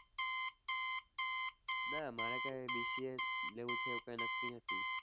ના મારે કઈ BCA લેવું છે એવું કઈ નક્કી નથી.